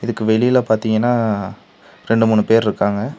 இதுக்கு வெளில பாத்தீங்னா ரெண்டு மூணு பேர் இருக்காங்க.